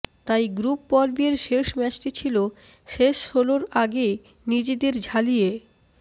তাই গ্রুপ পর্বের শেষ ম্যাচটি ছিল শেষ ষোলোর আগে নিজেদের ঝালিয়ে